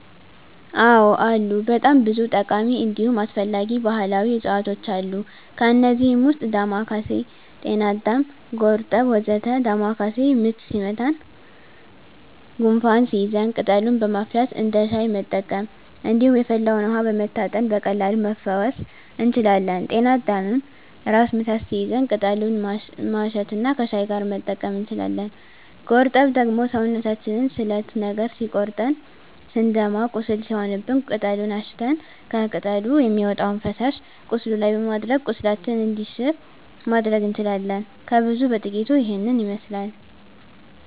አዎ አሉ በጣም ብዙ ጠቃሚ እንዲሁም አስፈላጊ ባህላዊ እፅዋቶች አሉ። ከእነዚህም ውስጥ ዳማካሴ፣ ጤናአዳም፣ ጎርጠብ ወ.ዘ.ተ ዳማካሴ ምች ሲመታን ጉንፋን ሲይዘን ቅጠሉን በማፍላት እንደ ሻይ መጠቀም እንዲሁም የፈላውን ውሀ በመታጠን በቀላሉ መፈወስ እንችላለን። ጤና አዳምም ራስ ምታት ሲይዘን ቅጠሉን ማሽት እና ከሻይ ጋር መጠቀም እንችላለን። ጎርጠብ ደግሞ ሰውነታችንን ስለት ነገር ሲቆርጠን ስንደማ ቁስል ሲሆንብን ቅጠሉን አሽተን ከቅጠሉ የሚወጣውን ፈሳሽ ቁስሉ ላይ በማድረግ ቁስላችን እንዲሽር ማድረግ እንችላለን። ከብዙ በጥቂቱ ይሄንን ይመስላል።